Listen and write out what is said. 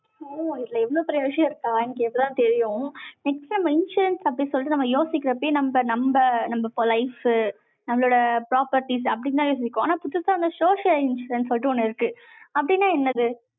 இதுல, எவ்வளவு பெரிய விஷயம் இருக்கா? எனக்கு, இப்பதான் தெரியும் next நம்ம insurance அப்படின்னு சொல்லிட்டு, நம்ம யோசிக்கிறப்பயே, நம்ம, நம்ப, நம்ம life நம்மளோட properties அப்படித்தான் யோசிப்போம். ஆனா, புதுசா, அந்த social insurance சொல்லிட்டு, ஒண்ணு இருக்கு. அப்படின்னா, என்னது?